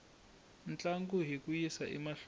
ntlangu hi ku yisa emahlweni